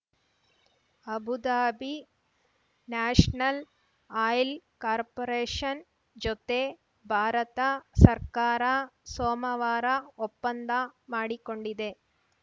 Abu Dhabi national oil corporation ಜೊತೆ ಭಾರತ ಸರ್ಕಾರ ಸೋಮವಾರ ಒಪ್ಪಂದ ಮಾಡಿಕೊಂಡಿದೆ